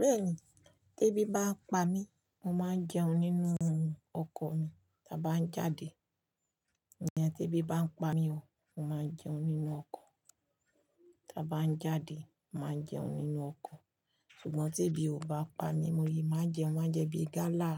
Bẹ́ẹ̀ni, tí ebi bá ń pa mí, mo máa jẹun nínú ọkọ̀ mi ti a bá ń jáde. Ìyẹn tí ebi bá ń pa mí o, mo máa jẹun nínú ọkọ̀ tá bá ń jáde, màá jẹun nínú ọkọ̀. Ṣùgbọ́n tí ebi ò bá pa mi, mo lè máa jẹun, má jẹ bíi gálà,